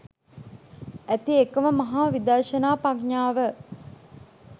ඇති එකම මඟ විදර්ශනා ප්‍රඥාව